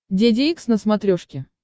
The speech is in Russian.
деде икс на смотрешке